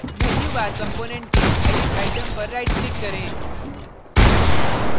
menu bar component के edit item पर right click करें